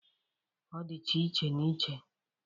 Ọ dịcha iche na iche